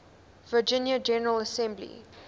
virginia general assembly